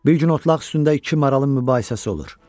Bir gün otlaq üstündə iki maralın mübahisəsi olur.